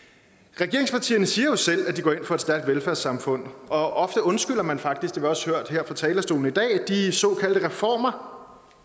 regeringspartierne siger selv at de går ind for et stærkt velfærdssamfund og ofte undskylder man faktisk det har vi også hørt her fra talerstolen i dag de såkaldte reformer